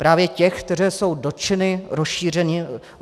Právě těch, které jsou dotčeny rozšiřováním EET.